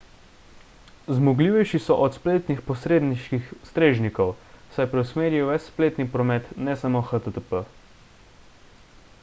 zmogljivejši so od spletnih posredniških strežnikov saj preusmerijo ves spletni promet ne samo http